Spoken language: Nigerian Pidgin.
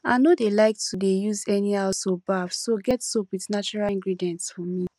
i no dey like to dey use anyhow soap baff so get soap with natural ingredients for me